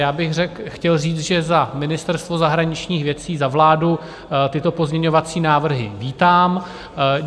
Já bych chtěl říct, že za Ministerstvo zahraničních věcí, za vládu tyto pozměňovací návrhy vítám.